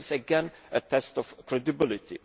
This is again a test of credibility.